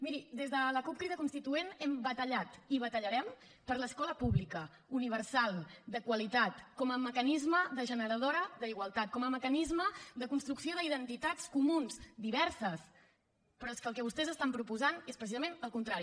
miri des de la cup crida constituent hem batallat i batallarem per l’escola pública universal de qualitat com a mecanisme de generació d’igualtat com a mecanisme de construcció d’identitats comunes diverses però és que el que vostès estan proposant és precisament el contrari